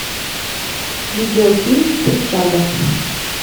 видеофильм присяга